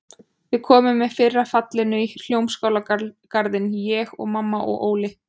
Við komum með fyrra fallinu í Hljómskálagarðinn, ég og mamma og Óli.